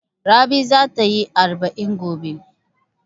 Rabi za ta yi arba'in gobe.